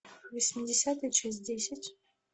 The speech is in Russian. восьмидесятые часть десять